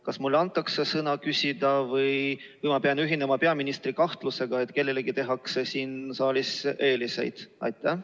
Kas mulle antakse sõna küsida või ma pean ühinema peaministri kahtlusega, et kellelegi siin saalis tehakse eeliseid?